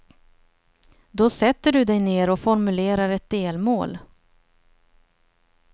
Då sätter du dig ner och formulerar ett delmål.